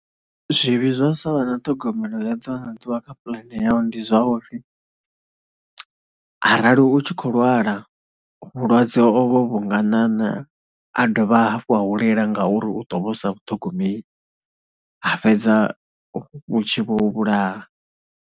Zwivhi zwa sa vha na ṱhogomelo ya ḓuvha na ḓuvha kha puḽane yau ndi zwa uri arali u tshi khou lwala vhulwadze ovho vhu nga ṋaṋa, ha dovha hafhu ha hulela ngauri u ḓo vha u sa vhuthogomeli ha fhedza vhu tshi vho u vhulaha.